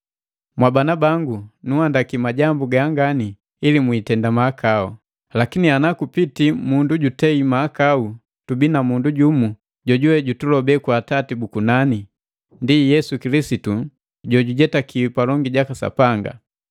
Mwabana bangu, nunhandaki majambu ganga, ili mwiitenda mahakau. Lakini ana kupitii mundu jutei mahakau, tubii na mundu jumu jojuwe jutulobe kwa Atati bu kunani, ndi Yesu Kilisitu jojujetakiwi palongi jaka Sapanga.